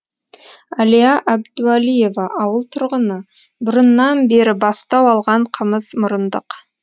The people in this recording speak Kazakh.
әлия әбдуәлиева ауыл тұрғыны бұрыннан бері бастау алған қымызмұрындық